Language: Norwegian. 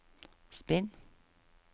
spinn